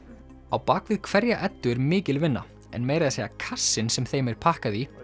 á bak við hverja Eddu er mikil vinna en meira að segja kassinn sem þeim er pakkað í